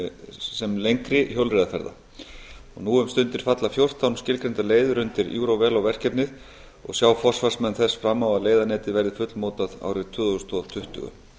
sem lengri hjólreiðaferða nú um stundir falla fjórtán skilgreindar leiðir undir eurovelo verkefnið og sjá forsvarsmenn þess fram á að leiðanetið verði fullmótað árið tvö þúsund tuttugu